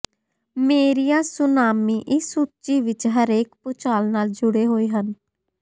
ਮੇਰੀਆਂ ਸੁਨਾਮੀ ਇਸ ਸੂਚੀ ਵਿਚ ਹਰੇਕ ਭੂਚਾਲ ਨਾਲ ਜੁੜੇ ਹੋਏ ਹਨ